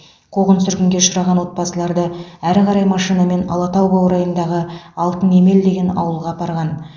қуғын сүргінге ұшыраған отбасыларды әрі қарай машинамен алатау баурайындағы алтынемел деген ауылға апарған